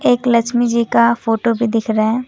एक लक्ष्मी जी का फोटो भी दिख रहा है।